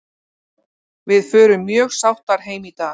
Við förum mjög sáttar heim í dag.